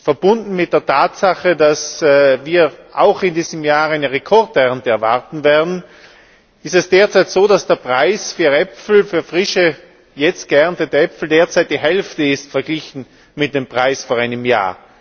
Verbunden mit der Tatsache, dass wir auch in diesem Jahr eine Rekordernte erwarten, ist es derzeit so, dass der Preis für frische, jetzt geerntete Äpfel derzeit die Hälfte ist verglichen mit dem Preis vor einem Jahr.